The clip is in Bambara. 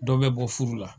Dɔ bɛ bɔ furu la